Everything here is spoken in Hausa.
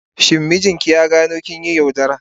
Shin mijinki ya gano kin yi yaudara?